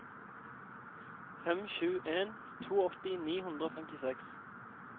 fem sju en to åtti ni hundre og femtiseks